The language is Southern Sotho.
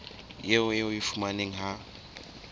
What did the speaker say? eo o e fumanang ha